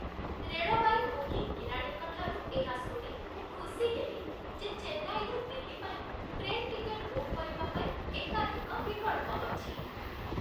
ରେଳବାଇ booking କିରାଣୀଙ୍କଠାରୁ ଏହା ଶୁଣି ମୁଁ ଖୁସି ହେଲି ଯେ ଚେନ୍ନାଇରୁ ଦିଲ୍ଲୀ ପାଇଁ ଟ୍ରେନ୍ ଟିକେଟ୍ ବୁକ୍ କରିବା ପାଇଁ ଏକାଧିକ ବିକଳ୍ପ ଅଛି।